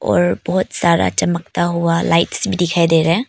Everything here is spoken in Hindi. और बहुत सारा चमकता हुआ लाइट्स भी दिखाई दे रहा है।